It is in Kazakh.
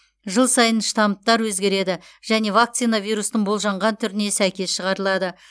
жыл сайын штамптар өзгереді және вакцина вирустың болжанған түріне сәйкес шығарылады